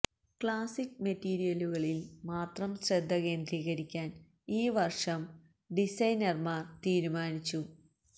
classic മെറ്റീരിയലുകളിൽ മാത്രം ശ്രദ്ധ കേന്ദ്രീകരിക്കാൻ ഈ വർഷം ഡിസൈനർമാർ തീരുമാനിച്ചു